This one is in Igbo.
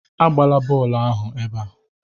Agbala bọọlụ ebe a!